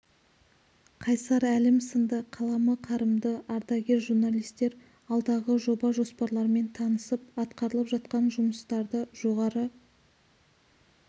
қайсар әлім сынды қаламы қарымды ардагер журналистер алдағы жоба-жоспарлармен танысып атқарылып жатқан жұмыстарды жоғары